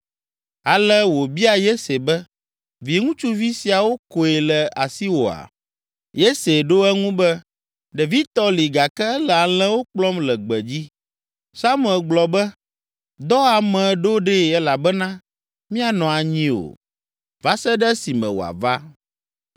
Ale wòbia Yese be, “Viŋutsuvi siawo koe le asiwòa?” Yese ɖo eŋu be, “Ɖevitɔ li gake ele alẽwo kplɔm le gbedzi.” Samuel gblɔ be, “Dɔ ame ɖo ɖee elabena míanɔ anyi o, va se ɖe esime wòava.”